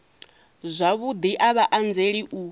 zwavhudi a vha anzeli u